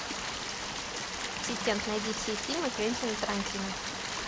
ассистент найди все фильмы квентина тарантино